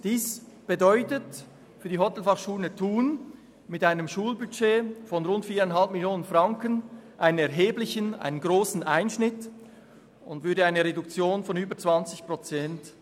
Dies bedeutet für die Hotelfachschule Thun mit einem Schulbudget von rund 4,5 Mio. Franken einen grossen Einschnitt, nämlich eine Reduktion um über 20 Prozent.